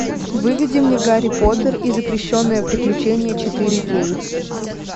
выведи мне гарри поттер и запрещенные приключения четыре кей